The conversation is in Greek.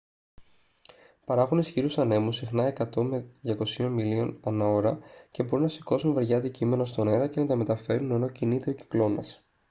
παράγουν ισχυρούς ανέμους συχνά 100-200 μιλίων/ώρα και μπορούν να σηκώσουν βαριά αντικείμενα στον αέρα και να τα μεταφέρουν ενώ κινείται ο κυκλώνας